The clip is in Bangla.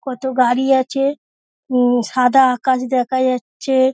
কতো গাড়ি আছে উম সাদা আকাশ দেখা যাচ্ছে।